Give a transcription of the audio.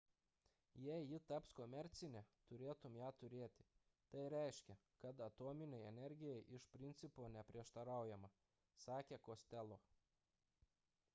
jei ji taps komercinė turėtume ją turėti tai reiškia kad atominei energijai iš principo neprieštaraujama – sakė costello